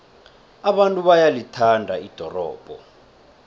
abantu bayalithanda ldorobho